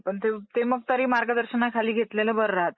हां ! ते मग तरी मार्गदर्शनाखाली घेतलेल बरं राहतय